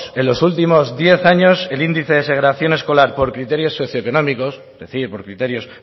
en los últimos diez años el índice de segregación escolar por criterios socioeconómicos es decir por criterios